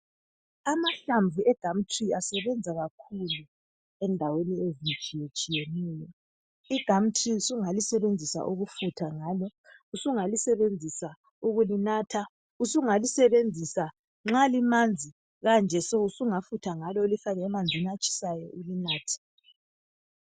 Amahlamvu egumtree asabenza kakhulu endaweni ezehlukahlukeneyo igumtree sungafutha ngalo sungalisebenzisa ukulinatha sungalisebenzi nxa limanzi so ulifake emanzini atshisayo ulinathe